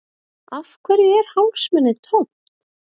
Af hverju er hálsmenið tómt?